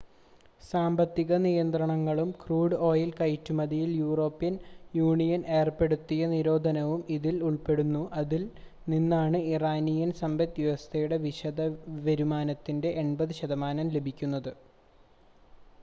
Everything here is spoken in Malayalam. സാമ്പത്തിക നിയന്ത്രണങ്ങളും ക്രൂഡ് ഓയിൽ കയറ്റുമതിയിൽ യൂറോപ്യൻ യൂണിയൻ ഏർപ്പെടുത്തിയ നിരോധനവും ഇതിൽ ഉൾപ്പെടുന്നു അതിൽ നിന്നാണ് ഇറാനിയൻ സമ്പദ്‌വ്യവസ്ഥയുടെ വിദേശ വരുമാനത്തിൻ്റെ 80% ലഭിക്കുന്നത്